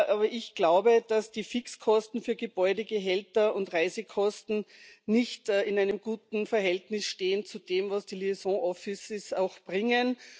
Aber ich glaube, dass die Fixkosten für Gebäude, Gehälter und Reisekosten nicht in einem guten Verhältnis stehen zu dem, was die Verbindungsbüros auch bringen.